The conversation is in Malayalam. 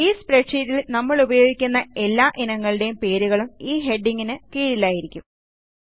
ഈ സ്പ്രെഡ്ഷീറ്റിൽ നമ്മളുപയോഗിക്കുന്ന എല്ലാ ഇനങ്ങളുടെ പേരുകളും ഈ ഹെഡിംഗിന് കീഴിലായിരിക്കും